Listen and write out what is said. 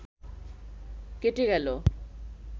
কেটে গেল